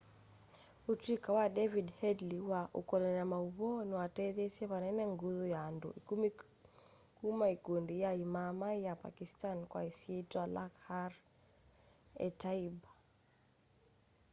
utuika wa david headley wa kukolany'a mauvoo niwatetheeisye vanene nguthu ya andu ikumi kuma ikundi ya imaaamai ya pakistani kwa isyitwa lakhar-e-taiba